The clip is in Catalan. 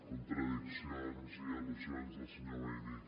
contradiccions i al·lusions del senyor maimí